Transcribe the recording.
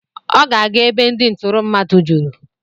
Ọ ga-aga ebe ndị ntụrụ mmadụ juru.